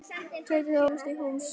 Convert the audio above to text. Tauið varð að komast í hús.